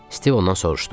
Stiv ondan soruşdu: